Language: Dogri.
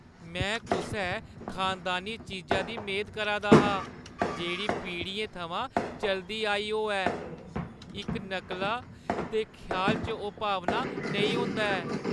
में कुसै खानदानी चीजा दी मेद करा दा हा, जेह्ड़ी पीढ़ियें थमां चलदी आई होऐ। इक नकला दे ख्याल च ओह् भावना नेईं होंदा ऐ।